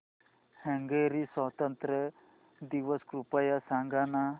Hungary स्वातंत्र्य दिवस कृपया सांग ना